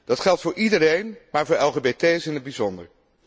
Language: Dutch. Dat geldt voor iedereen, maar voor LGBT's in het bijzonder.